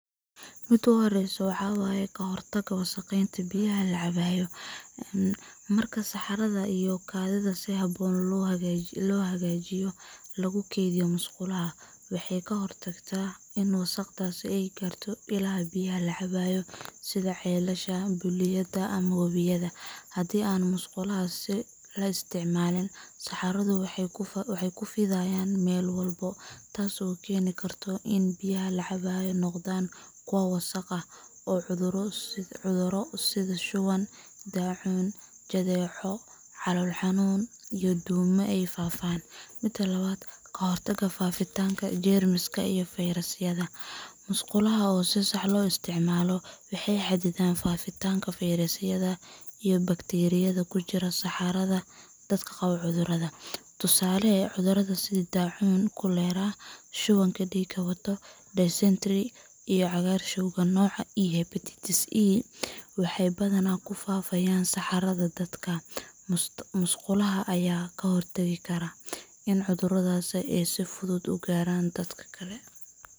Mida u horeyso maxa waye. Ka hortagga wasakhaynta biyaha la cabo Marka saxarada iyo kaadidu si habboon loo hagaajiyo lagu keydiyo musqulaha ama nidaamyada bullaacadaha waxay ka hortagtaa in wasakhdaasi ay gaarto ilaha biyaha la cabo sida ceelasha, balliyada ama wabiyada. Haddii aan musqulaha la isticmaalin, saxaradu waxay ku fidayaan meel walba, taas oo keeni karta in biyaha la cabo ay noqdaan kuwo wasakh ah oo cudurro sida shuban, daacuun, jadeeco calool-xanuun, iyo duumo ay faafaan. Mida labad. Ka hortagga faafitaanka jeermiska iyo fayrasyada Musqulaha oo si sax ah loo isticmaalo waxay xaddidaan faafitaanka fayrasyada iyo bakteeriyada ku jirta saxarada dadka qaba cudurrada. Tusaale, cudurada sida: Daacuunka cholera Shubanka dhiigga wata dysentery Cagaarshowga nooca E Hepatitis E waxay badanaa ku faafaan saxarada dadka. Musqulaha ayaa ka hortaga in cudurradan ay si fudud u gaaraan dad kale.